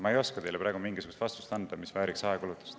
Ma ei oska teile praegu anda sellist vastust, mis vääriks ajakulu.